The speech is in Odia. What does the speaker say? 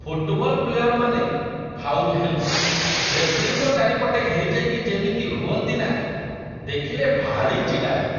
ଫୁଟ୍‌ବଲ ପ୍ଲେୟରମାନେ ଫାଉଲ୍ ହେଲେ, ରେଫରିଙ୍କ ଚାରିପଟେ ଘେରିଯାଇକି ଯେମିତି ହୁଅନ୍ତି ନା, ଦେଖିଲେ ଭାରି ଚିଡ଼ାଲାଗେ ।